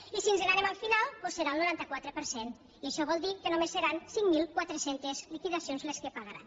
i si ens n’anem al final doncs serà el noranta quatre per cent i això vol dir que només seran cinc mil quatre cents liquidacions les que pagaran